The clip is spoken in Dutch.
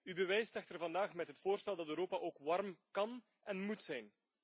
U bewijst echter vandaag met het voorstel dat Europa ook warm kan en moet zijn.